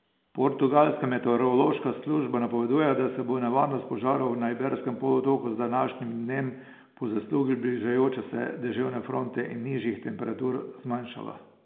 Portugalska meteorološka služba napoveduje, da se bo nevarnost požarov na Iberskem polotoku z današnjim dnem po zaslugi bližajoče se deževne fronte in nižjih temperatur zmanjšala.